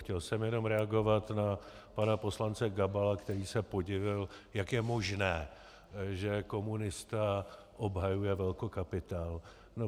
Chtěl jsem jenom reagovat na pana poslance Gabala, který se podivil, jak je možné, že komunista obhajuje velkokapitál.